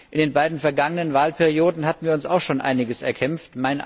In den beiden vergangenen Wahlperioden hatten wir uns auch schon einiges erkämpft.